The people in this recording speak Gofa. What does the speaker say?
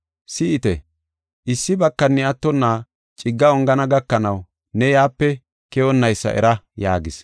Si7ite, issi bakani attonna cigga ongana gakanaw ne yaape keyonnaysa era” yaagis.